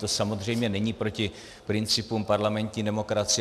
To samozřejmě není proti principům parlamentní demokracie.